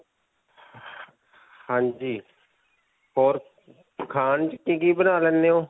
ਹਾਂਜੀ. ਹੋਰ ਖਾਣ 'ਚ ਕਿ-ਕਿ ਬਣਾ ਲੈਂਦੇ ਹੋ?